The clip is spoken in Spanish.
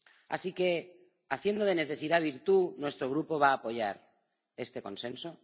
Así que, haciendo de la necesidad virtud, nuestro Grupo va a apoyar este consenso.